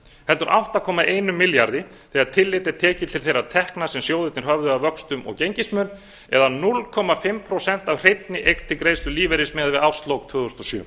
heldur átta komma einum milljarði þegar tillit er tekið til þeirra tekna sem sjóðirnir höfðu af vöxtum og gengismun eða hálft prósent af hreinni eign til greiðslu lífeyris miðað við árslok tvö þúsund og sjö